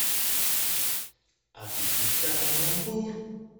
отличный каламбур